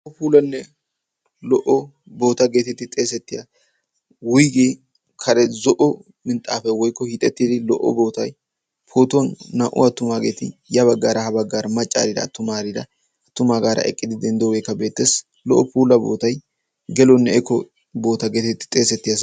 loo puulanne lo''o boota geetetti xeesettiya wuygiya kare zo''o minxxaafa woykko hiixettidi lo''o bootai pootuwan naa''u attumaageeti ya baggaara ha baggaara maccaarida attumaarida attumaagaara eqqidi denddoogeekka beetteesi lo''o puula bootay geloonne eko boota geetetti xeesettiya